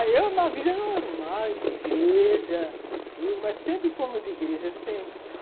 Ah, eu, uma vida normal, de igreja, tudo, mas sempre fomos de igreja, sempre, né?